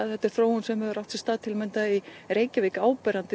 þetta er þróun sem hefur átt sér stað í Reykjavík áberandi